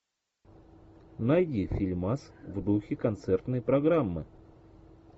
найди фильмас в духе концертной программы